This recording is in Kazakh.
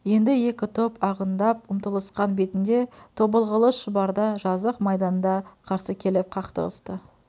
енді екі топ ағындап ұмтылысқан бетінде тобылғылы шұбарда жазық майданда қарсы келіп қақтығысты